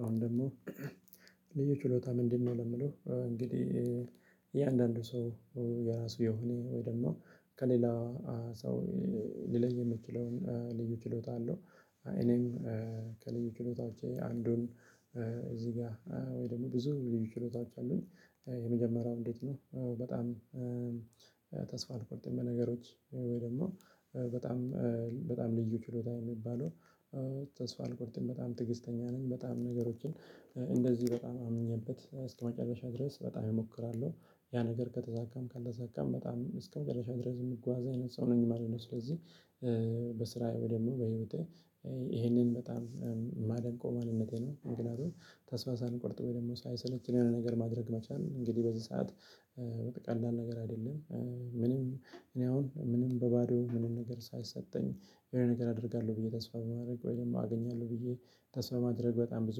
አሁን ደግሞ ልዩ ችሎታ ምንድነው? ለምለው እንግዲህ እያንዳንዱ ሰው የራሱ የሆነ ወይ ደግሞ ከሌላ ሰው ሊለይ የምችለውን ልዩ ችሎታ አለው። እኔም ከልዩ ችሎታዎቼ አንዱን እዚህ ጋር ወይ ደግሞ ብዙ ልዩ ችሎታዎች አሉኝ። የመጀመሪያው እንዴት ነው? በጣም ተስፋ አልቆርጥም በነገሮች ወይ ደግሞ በጣም በጣም ልዩ ችሎታ የሚባለው ተስፋ አልቆርጥም በጣም ትዕግስተኛ ነኝ። በጣም ነገሮችን እንደዚህ በጣም አምኜበት እስከመጨረሻ ድረስ በጣም እሞክራለሁ ያ ነገር ከተሳካም ካልተሳካም በጣም እስከመጨረሻ ድረስ የምጓዝ አይነት ሰው ነኝ ማለት ነው። ስለዚህ በስራዬ ወይ ደግሞ በህይወቴ ይሄንን በጣም የማደንቀው ማንነቴ ነው። ምክንያቱም ተስፋ ሳልቆርጥ ወይ ደግሞ ሳይሰለች የሆነ ነገር ማድረግ መቻል ነው። እንግዲህ በዚህ ሰዓት ቀላል ነገር አይደለም። ምንም እኔ አሁን ምንም በባዶ ምንም ነገር ሳይሰጠኝ የሆነ ነገር አደርጋለሁ ብዬ ተስፋ በማድረግ ወይም አገኛለሁ ብዬ ተስፋ ማድረግ በጣም ብዙ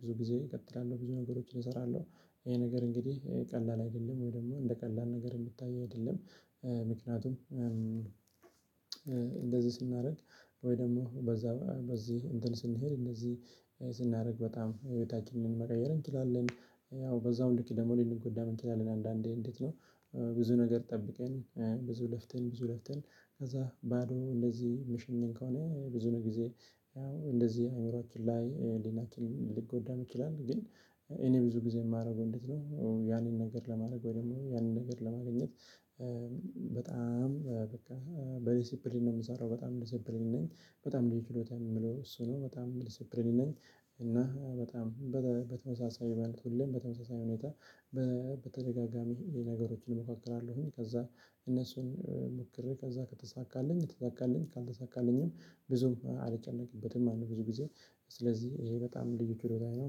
ብዙ ጊዜ እቀጥላለሁ ብዙ ነገሮችን እሰራለሁ። ይሄ ነገር እንግዲህ ቀላል አይደለም ወይ ደግሞ እንደ ቀላል ነገር የሚታይ አይደለም። ምክንያቱም እንደዚህ ስናደርግ ወይ ደግሞ በዛ በዚህ እንትን ስንሄድ እንደዚህ ስናደርግ በጣም የቤታችንን መቀየር እንችላለን። ያው በዛው ልክ ደግሞ ልንጎዳም እንችላለን አንዳንዴ እንዴት ነው? ብዙ ነገር ጠብቀን ብዙ ለፍተን ብዙ ለፍተን ከዛ ባዶ እንደዚህ ምሽኘን ከሆነ ብዙ ነገር ጊዜ ያው እንደዚህ አእምሮአችን ላይ ህሊናችን ሊጎዳም ይችላል። ግን እኔ ብዙ ጊዜ የማደርገው እንዴት ነው ያንን ነገር ለማድረግ ወይ ደግሞ ያንን ነገር ለማግኘት። በጣም በቃ በዲሲፕሊን ነው የምሰራው በጣም ዲሲፕሊን ነኝ በጣም ልዩ ችሎታዬም የምለው እሱ ነው በጣም ዲሲፕሊንድ ነኝ። እና በጣም በተመሳሳይ ማለት ሁሌም በተመሳሳይ ሁኔታ በተደጋጋሚ ነገሮችን እሞካክራለሁኝ ከዛ እነሱን ሞክሬ ከዛ ከተሳካልኝ ተሳካልኝ ካልተሳካልኝም ብዙም አልጨነቅበትም ማለት ነው። ብዙ ጊዜ ስለዚህ ይሄ በጣም ልዩ ችሎታዬ ነው።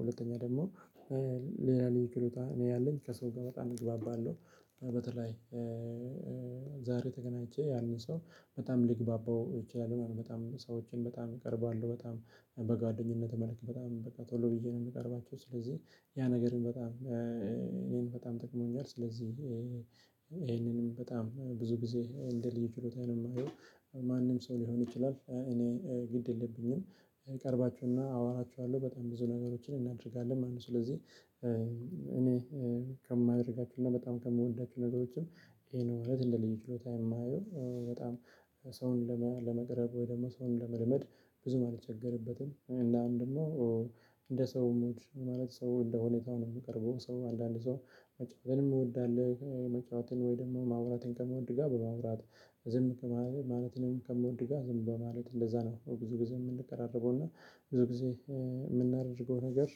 ሁለተኛ ደግሞ ሌላ ልዩ ችሎታ እኔ ያለኝ ከሰው ጋር በጣም እግባባለሁ። በተለይ ዛሬ ተገናኝቼ ያንን ሰው በጣም ልግባባው እችላለሁ ማለት ነው። በጣም ሰዎችን በጣም እቀርባለሁ በጣም በጓደኝነት መልክ በጣም በቃ ቶሎ ብዬ ነው የምቀርባቸው። ስለዚህ ያ ነገርን በጣም እኔን በጣም ጠቅሞኛል። ስለዚህ ይሄንንም በጣም ብዙ ጊዜ እንደ ልዩ ችሎታዬ ነው የማየው። ማንም ሰው ሊሆን ይችላል እኔ ግድ የለብኝም። እቀርባችሁና አወራችኋለሁ በጣም ብዙ ነገሮችን እናደርጋለን ማለት ነው። ስለዚህ እኔ ከማደርጋቸው እና በጣም ከምወዳቸው ነገሮችም ይሄን እውነት እንደ ልዩ ችሎታዬ የማየው በጣም ሰውን ለመቅረብ ወይ ደግሞ ሰውን ለመልመድ ብዙም አልቸገርበትም። እናም ደሞ እንደ ሰው ሙድ ማለት ሰው እንደ ሁኔታው ነው የምቀርበው ሰው አንዳንድ ሰው መጫወትን የሚወድ አለ መጫወትን ወይ ደግሞ ማውራትን ከሚወድ ጋር በማውራት ዝም ከማለት ማለትንም ከሚወድ ጋር ዝም በማለት እንደዛ ነው ብዙ ጊዜ የምንቀራረበውና። ብዙ ጊዜ የምናደርገው ነገር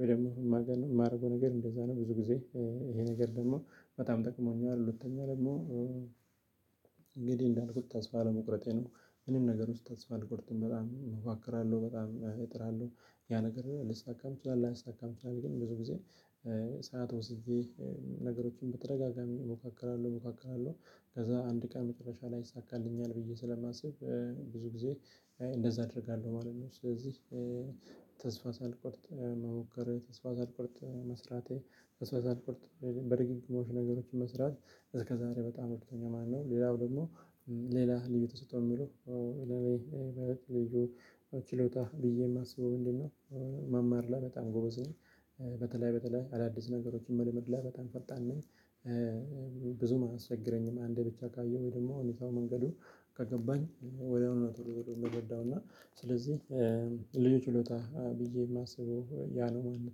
ወይ ደግሞ የማደርገው ነገር እንደዛ ነው ብዙ ጊዜ ይሄ ነገር ደግሞ በጣም ጠቅሞኛል። ሁለተኛ ደግሞ እንግዲህ እንዳልኩት ተስፋ አለመቁረጤ ነው። ምንም ነገር ውስጥ ተስፋ አድርጎለት በጣም እሞካክራለሁ በጣም እጥራለሁ ያ ነገር ሊሳካም ይችላል ላይሳካም ይችላል። ግን ብዙ ጊዜ ሰዓት ወስጄ ነገሮችን በተደጋጋሚ እሞካክራለሁ እሞካክራለሁ ከዛ አንድ ቀን መጨረሻ ላይ ይሳካልኛል ብዬ ስለማስብ ብዙ ጊዜ እንደዛ አደርጋለሁ ማለት ነው። ስለዚህ ተስፋ ሳልቆርጥ መሞከር ተስፋ ሳልቆርጥ መስራቴ ተስፋ ሳልቆርጥ በድግግሞሽ ነገሮችን መስራት እስከዛሬ በጣም ረድቶኛል። ማነው? ሌላው ደግሞ ሌላ ልዩ ተሰጦ የሚለው ለኔ ይበለጥ ልዩ ችሎታ ብዬ የማስበው ምንድነው? መማር ላይ በጣም ጎበዝ ነኝ። በተለይ አዳዲስ ነገሮችን መልመድ ላይ በጣም ፈጣን ነኝ። ብዙም አያስቸግረኝም አንዴ ብቻ ካየሁኝ ወይ ደግሞ ሁኔታው መንገዱ ከገባኝ ወዲያውኑ ነው ቶሎ ቶሎ ምረዳው እና ስለዚህ ልዩ ችሎታ ብዬ የማስበው ያ ነው ማለት ነው።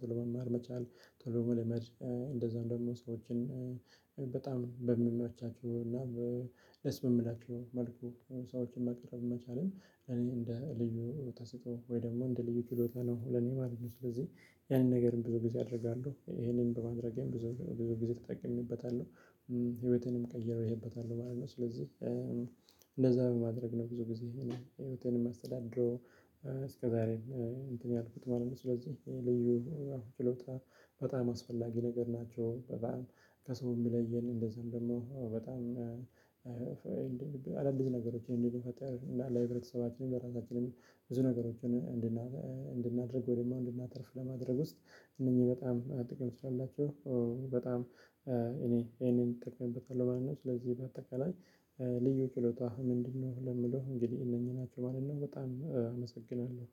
ቶሎ መማር መቻል ቶሎ መልመድ እንደዛም ደግሞ ሰዎችን በጣም በሚመቻቸው እና ደስ በሚላቸው መልኩ ሰዎችን መቅረብ መቻልም እኔ እንደ ልዩ ተሰጦ ወይ ደግሞ እንደ ልዩ ችሎታ ነው። ለኔ ማለት ነው ስለዚህ ያንን ነገርም ብዙ ጊዜ አደርጋለሁ ይሄንን በማድረጌም ብዙ ብዙ ጊዜ ተጠቅሜበታለሁ። ህይወቴንም ቀይሬበታለሁ ማለት ነው። በማድረግ ነው ብዙ ጊዜ ይሄንን ህይወቴን የማስተዳድረው። እስከዛሬም እንትን ያልኩት ማለት ነው ስለዚህ ልዩ አሁን ችሎታ በጣም አስፈላጊ ነገር ናቸው። በጣም ከሰው የሚለየን እንደዛም ደግሞ በጣም አዳዲስ ነገሮችን እንድንፈጥር እና ለህብረተሰባችንም ለራሳችንም ብዙ ነገሮችን እንድናደርግ ወይም እንድናተርፍ ለማድረግ ውስጥ እነኚህ በጣም ጥቅም ስላላቸው በጣም እኔ ይሄንን እጠቀምበታለሁ። ማለት ነው። ስለዚህ በአጠቃላይ ልዩ ችሎታህ ምንድነው ለሚለው እንግዲህ እነኚህ ናቸው ማለት ነው። በጣም አመሰግናለሁ